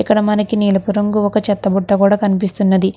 ఇక్కడ మనకి నీలపు రంగు ఒక చెత్త బుట్ట కూడా కనిపిస్తున్నది.